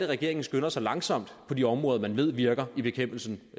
regeringen skynder sig langsomt på de områder man ved virker i bekæmpelsen